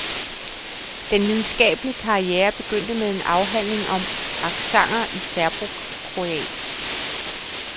Den videnskabelige karriere begyndte med en afhandling om accenter i serbokroatisk.